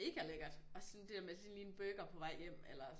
Megalækkert og sådan det der sådan lige en burger på vej hjem eller